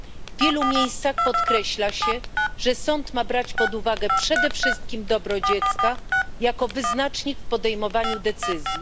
W wielu miejscach podkreśla się, że sąd ma brać pod uwagę przede wszystkim dobro dziecka jako wyznacznik w podejmowaniu decyzji.